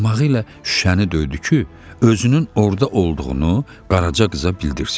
Barmağı ilə şüşəni döydü ki, özünün orda olduğunu Qaraca qıza bildirsin.